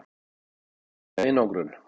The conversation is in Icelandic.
Edda: Einangrun?